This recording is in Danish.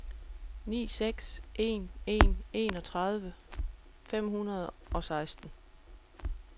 ni seks en en enogtredive fem hundrede og seksten